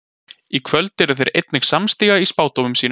Í kvöld eru þeir einnig samstíga í spádómum sínum.